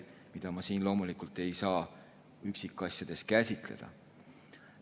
Seda kõike ei saa ma siin loomulikult üksikasjalikult käsitleda.